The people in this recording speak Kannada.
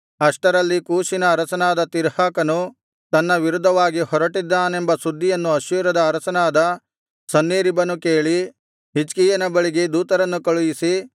ಅಷ್ಟರಲ್ಲಿ ಕೂಷಿನ ಅರಸನಾದ ತಿರ್ಹಾಕನು ತನ್ನ ವಿರುದ್ಧವಾಗಿ ಹೊರಟಿದ್ದಾನೆಂಬ ಸುದ್ದಿಯನ್ನು ಅಶ್ಶೂರದ ಅರಸನಾದ ಸನ್ಹೇರೀಬನು ಕೇಳಿ ಹಿಜ್ಕೀಯನ ಬಳಿಗೆ ದೂತರನ್ನು ಕಳುಹಿಸಿ